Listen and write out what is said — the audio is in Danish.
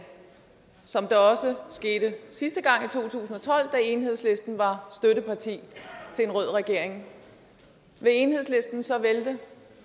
som det også skete sidste gang i to tusind og tolv da enhedslisten var støtteparti til en rød regering vil enhedslisten så vælte